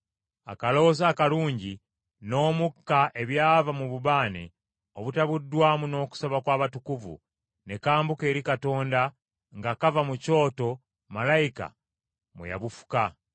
Akaloosa akalungi n’omukka ebyava mu bubaane obutabuddwamu n’okusaba kw’abatukuvu ne kambuka eri Katonda nga kava mu kyoto malayika mwe yabufuka.